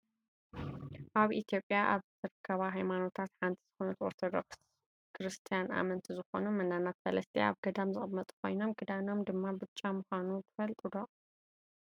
ኣብ ኢትዮጵያ ካብ ዝርከባ ሃይማኖታት ሓንቲ ዝኮነት ኦርቶዶክስ ተዋህዶ ክርስትያን ኣመንቲ ዝኮኑ መናናት ፈለስቲ ኣብ ገዳም ዝቅመጡ ኮይኖም ክዳኖም ድማ ብጫ ምኳኑ ትፈልጡ ዶ?